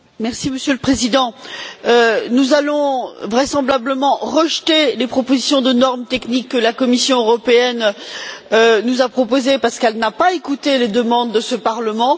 Monsieur le Président, nous allons vraisemblablement rejeter les propositions de normes techniques que la Commission européenne nous a soumises parce qu'elle n'a pas écouté les demandes de ce Parlement.